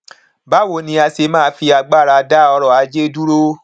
báwo ni a ṣe máa fi agbára dá ọrọ ajé dúró